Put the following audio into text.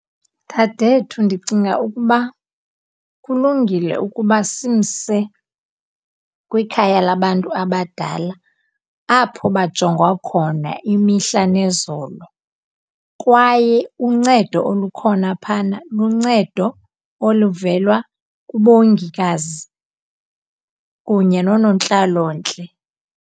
Dadethu, ndicinga ukuba kulungile ukuba simse kwikhaya labantu abadala apho bajongwa khona imihla nezolo, kwaye uncedo olukhona phana luncedo oluvela kubongikazi kunye noonontlalontle.